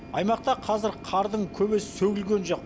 аймақта қазір қардың көбесі сөгілген жоқ